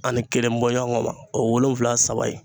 Ani kelen bɔ ɲɔgɔn ma o ye wolonwula saba ye